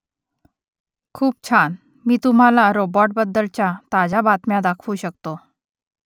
खूप छान मी तुम्हाला रोबॉटबद्दलच्या ताज्या बातम्या दाखवू शकतो